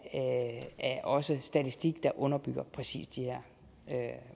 også statistik der underbygger præcis de her